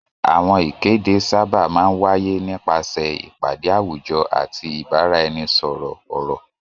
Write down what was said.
Àwọn ìkéde sábà máa ń wáyé nípasẹ̀ ìpàdé àwùjọ àti ìbáraẹnisọ̀rọ̀ ọ̀rọ̀.